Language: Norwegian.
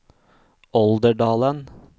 Olderdalen